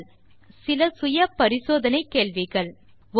தீர்வு காண சில செல்ஃப் அசெஸ்மென்ட் கேள்விகள் 1